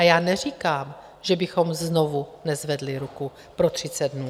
A já neříkám, že bychom znovu nezvedli ruku pro 30 dnů.